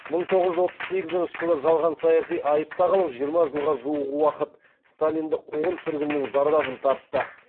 мың тоғыз жүз отыз сегізінші жылы жалған саяси айып тағылып жиырма жылға жуық уақыт сталиндік қуғын сүргіннің зардабын тартты